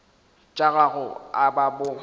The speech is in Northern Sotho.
tša gago a ba bo